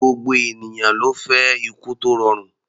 Gbogbo ènìyàn ló fẹ́ ikú tó rọrùn.